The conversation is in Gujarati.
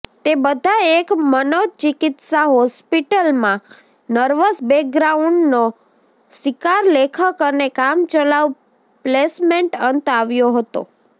તે બધા એક મનોચિકિત્સા હોસ્પિટલમાં નર્વસ બ્રેકડાઉનનો શિકાર લેખક અને કામચલાઉ પ્લેસમેન્ટ અંત આવ્યો હતો